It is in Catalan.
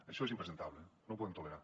això és impresentable no ho podem tolerar